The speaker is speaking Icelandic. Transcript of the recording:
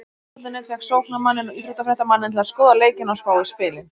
Fótbolti.net fékk sóknarmanninn og íþróttafréttamanninn til að skoða leikina og spá í spilin.